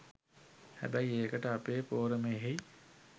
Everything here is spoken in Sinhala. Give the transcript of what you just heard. හැබැයි ඒකට අපේ පෝරමයෙහි